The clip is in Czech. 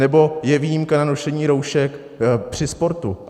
Nebo je výjimka na nošení roušek při sportu.